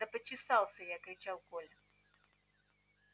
да почесался я кричал коля